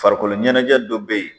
Farikolo ɲɛnajɛ dɔ bɛ ye.